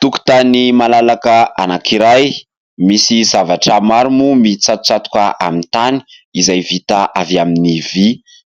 Tokotany malalaka anankiray, misy zavatra maro moa mitsatotsatoka amin'ny tany izay vita avy amin'ny vy,